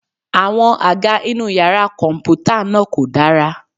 Àwọn àga inú yàrá kọ̀m̀pútà náà kò dára.